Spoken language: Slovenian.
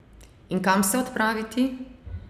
In kam se odpraviti?